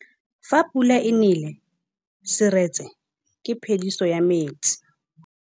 Fa pula e nelê serêtsê ke phêdisô ya metsi.